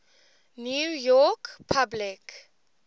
new york public